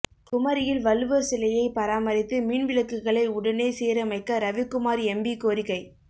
குமரியில் வள்ளுவர் சிலையை பராமரித்து மின் விளக்குகளை உடனே சீரமைக்க ரவிக்குமார் எம்பி கோரிக்கை